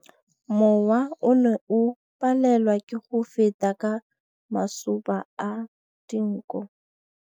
Mowa o ne o palelwa ke go feta ka masoba a dinko.